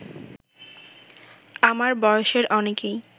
আমার বয়সের অনেকেই